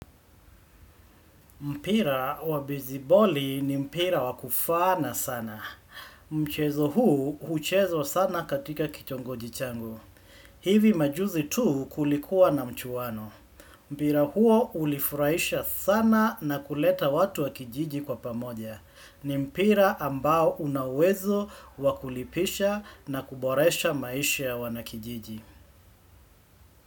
Mpira wa besabali ni mpira wakufana sana. Mchezo huu huchezwa sana katika kichongoji changu. Hivi majuzi tu kulikuwa na mchuwano. Mpira huo ulifurahisha sana na kuleta watu wa kijiji kwa pamoja. Ni mpira ambao unauwezo wakulipisha na kuboresha maisha ya wanakijiji.